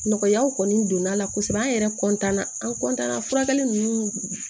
Nɔgɔyaw kɔni donna la kosɛbɛ an yɛrɛ na an na furakɛli ninnu